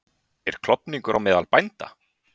En er klofningur á meðal bænda?